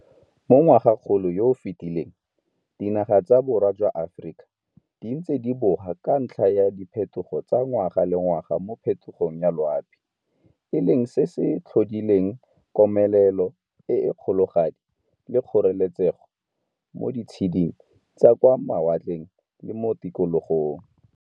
Mo ngwagakgolong yo o fetileng dinaga tsa borwa jwa Aforika di ntse di boga ka ntlha ya diphetogo tsa ngwaga le ngwaga mo phetogong ya loapi, e leng se se tlhodileng komelelo e e kgologadi le kgoreletsego mo di tsheding tsa kwa ma watleng le mo Tikologong.